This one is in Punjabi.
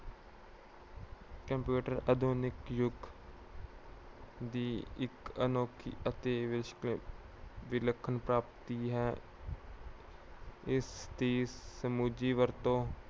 computer ਆਧੁਨਿਕ ਯੁੱਗ ਦੀ ਇੱਕ ਅਨੋਖੀ ਅਤੇ ਵਿਲਖਣ ਪ੍ਰਾਪਤੀ ਹੈ। ਇਸ ਦੀ ਸੁਚੱਜੀ ਵਰਤੋਂ